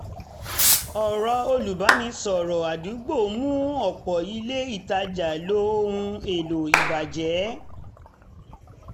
ọ̀rọ̀ olùbánisọ̀rọ̀ ádúgbò mú ọ̀pọ̀ ilé ìtajà lo ohun èlò ìbàjẹ́